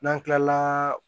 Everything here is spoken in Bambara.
N'an kilala